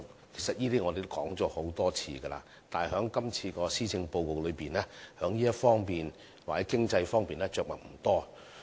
其實這些我們已多次提及，但在今次的施政報告中，在這方面着墨不多。